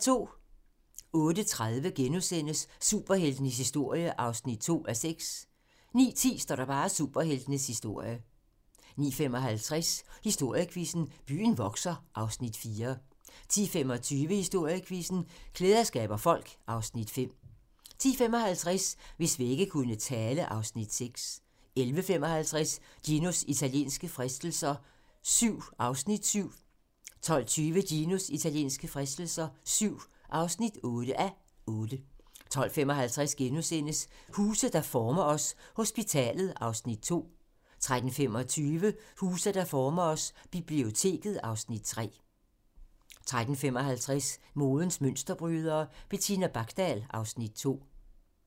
08:30: Superheltenes historie (2:6)* 09:10: Superheltenes historie 09:55: Historiequizzen: Byen vokser (Afs. 4) 10:25: Historiequizzen: Klæder skaber folk (Afs. 5) 10:55: Hvis vægge kunne tale (Afs. 6) 11:55: Ginos italienske fristelser VII (7:8) 12:20: Ginos italienske fristelser VII (8:8) 12:55: Huse, der former os: Hospitalet (Afs. 2)* 13:25: Huse, der former os: Biblioteket (Afs. 3) 13:55: Modens mønsterbrydere: Bettina Bakdal (Afs. 2)